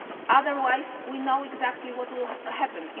otherwise we know exactly what will happen.